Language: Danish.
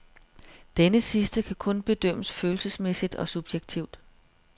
Denne sidste kan kun bedømmes følelsesmæssigt og subjektivt.